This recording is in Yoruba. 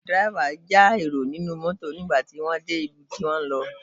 Dẹ́rẹ́bà ń já èrò inú mọ́tọ̀ nígbà tí wọ́n de ibi tí wọn ń lọ.